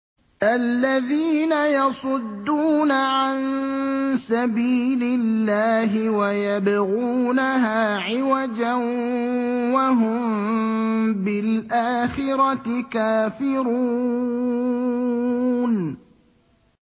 الَّذِينَ يَصُدُّونَ عَن سَبِيلِ اللَّهِ وَيَبْغُونَهَا عِوَجًا وَهُم بِالْآخِرَةِ كَافِرُونَ